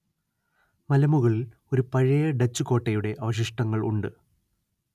മലമുകളില്‍ ഒരു പഴയ ഡച്ച് കോട്ടയുടെ അവശിഷ്ടങ്ങള്‍ ഉണ്ട്